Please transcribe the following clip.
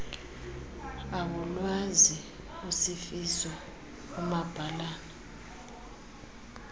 awulwazi usifiso umabhalana